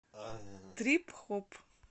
трип хоп